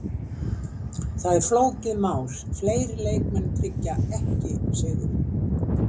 Það er flókið mál, fleiri leikmenn tryggja ekki sigurinn.